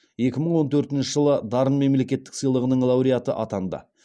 екі мың он төртінші жылы дарын мемлекеттік сыйлығының лауреаты атанды